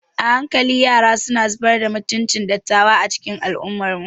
A hankali yara suna zubar da mutuncin dattawa a cikin al'ummarmu.